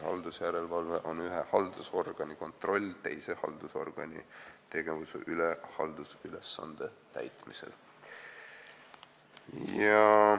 Haldusjärelevalve on ühe haldusorgani kontroll teise haldusorgani tegevuse üle haldusülesande täitmisel.